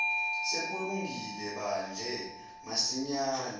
sekulungile badle masinyane